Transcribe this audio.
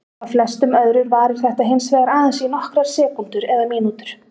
Hjá flestum öðrum varir þetta hins vegar aðeins í nokkrar sekúndur eða mínútur.